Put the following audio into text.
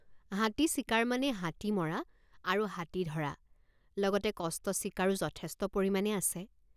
হাতী চিকাৰ মানে হাতী মৰা আৰু হাতী ধৰা লগতে কষ্ট স্বীকাৰো যথেষ্ট পৰিমাণে আছে।